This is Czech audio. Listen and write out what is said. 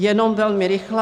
Jenom velmi rychle.